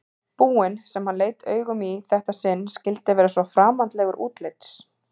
búinn sem hann leit augum í þetta sinn skyldi vera svo framandlegur útlits.